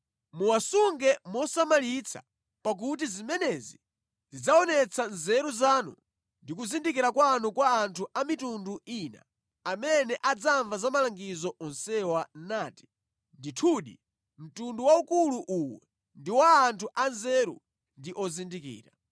Muwasunge mosamalitsa pakuti zimenezi zidzaonetsa nzeru zanu ndi kuzindikira kwanu kwa anthu a mitundu ina, amene adzamva za malangizo onsewa nati, “Ndithudi, mtundu waukulu uwu ndi wa anthu anzeru ndi ozindikira.”